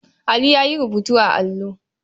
Ali ya yi rubutu a allo.